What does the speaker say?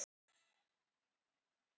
Þeirri spurningu svarar hún játandi